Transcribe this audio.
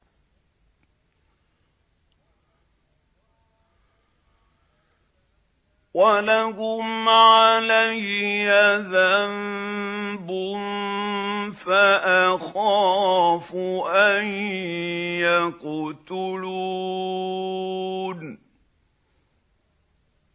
وَلَهُمْ عَلَيَّ ذَنبٌ فَأَخَافُ أَن يَقْتُلُونِ